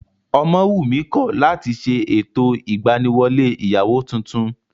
Ọmọwùnmí kọ̀ láti ṣe ètò ìgbaniwọlé ìyàwó tuntun